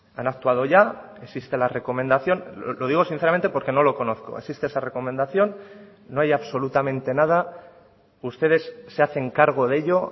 han actuado ya existe la recomendación lo digo sinceramente porque no lo conozco existe esa recomendación no hay absolutamente nada ustedes se hacen cargo de ello